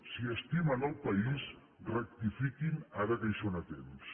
si estimen el país rectifiquin ara que hi són a temps